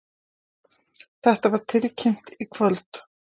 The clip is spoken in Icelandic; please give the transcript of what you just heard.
Þetta var tilkynnt í kvöld